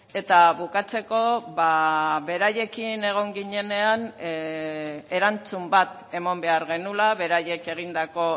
eta bukatzeko beraiekin egon ginenean erantzun bat eman behar genuela beraiek egindako